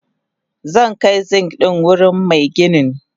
Zankai Zink dinnan wurin maginin.